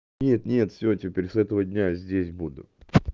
нет нет всё теперь с этого дня здесь буду